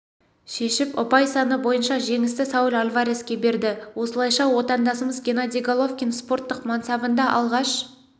шешіп ұпай саны бойынша жеңісті сауль альвареске берді осылайша отандасымыз геннадий головкин спорттық мансабында алғаш